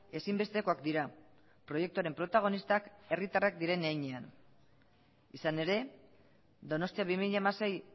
ezinbestekoak dira proiektuaren protagonistak herritarrak diren heinean izan ere donostia bi mila hamasei